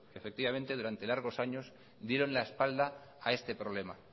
efectivamente durante largos años dieron la espalda a este problema